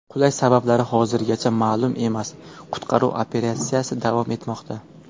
Qulash sabablari hozirgacha ma’lum emas, qutqaruv operatsiyasi davom etmoqda.